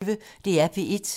DR P1